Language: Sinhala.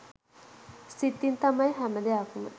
සිතින් තමයි හැම දෙයක්ම